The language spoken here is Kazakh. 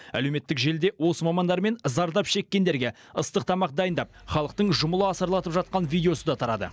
әлеуметтік желіде осы мамандар мен зардап шеккендерге ыстық тамақ дайындап халықтың жұмыла асарлатып жатқан видеосы да тарады